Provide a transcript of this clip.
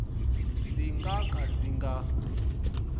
ndzi nga ka ndzi nga